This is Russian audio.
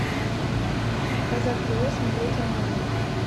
казах тв смотреть онлайн